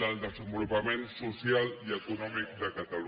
del desenvolupament social i econòmic de catalunya